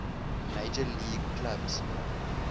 major league clubs